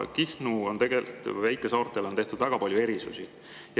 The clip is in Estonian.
Kihnule ja väikesaartele on tehtud väga palju erisusi.